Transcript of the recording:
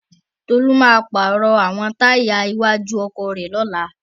Tolú máa pàrọ̀ àwọn táyà iwájú ọkọ̀ rẹ̀ lọ́la.